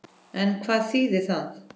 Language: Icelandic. En hvað þýðir það?